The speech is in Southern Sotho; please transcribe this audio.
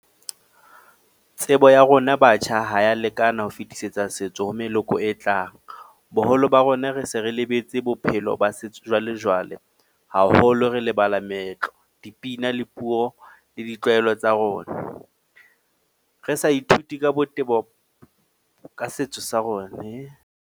Tsebo ya rona batjha ha ya lekana ho fetisetsa setso ho meloko e tlang. Boholo ba rona re se re lebetse bophelo ba setso jwalejwale. Haholo re lebala meetlo, dipina le puo le ditlwaelo tsa rona. Re sa ithuti ka botebo ka setso sa rona .